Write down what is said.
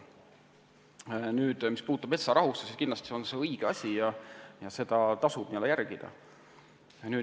Nüüd, mis puutub metsarahusse, siis see on kindlasti õige asi ja seda tasub järgida.